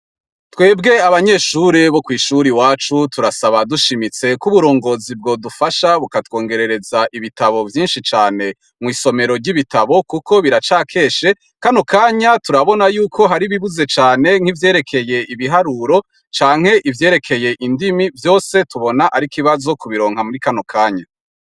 Twebwe abanyeshure bo kw’ishure iwacu turasaba dushimitse ko uburongozi bwodufasha buka twongerereza ibitabo vyinshi cane mw’isomero ry’ibitabo, kuko biraca keshe. Kano kanya turabona yuko hari ibibuze cane nk’ivyerekeye ibiharuro canke ivyerekeye indimi vyose tubona arikibazo kubironka muri kano kanya.